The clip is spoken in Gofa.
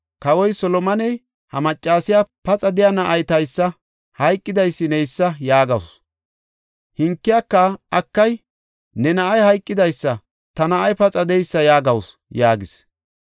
Kawoy Solomoney, “Ha maccasiya, ‘Paxa de7iya na7ay taysa; hayqidaysi neysa’ yaagawusu; hankiyaka, ‘Akay, ne na7ay hayqidaysa; ta na7ay paxa de7eysa’ yaagawusu” yaagis.